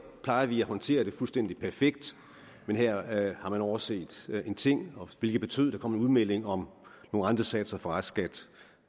plejer vi at håndtere det fuldstændig perfekt men her havde man overset en ting hvilket betød at der kom en udmelding om nogle rentesatser for restskat